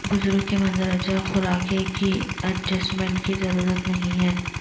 بزرگ کے مندرجہ خوراکیں کی ایڈجسٹمنٹ کی ضرورت نہیں ہے